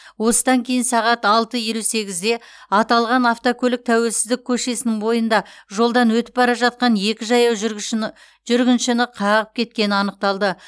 осыдан кейін сағат алты елу сегізде аталған автокөлік тәуелсіздік көшесінің бойында жолдан өтіп бара жатқан екі жаяу жүргіншіні қағып кеткені анықталды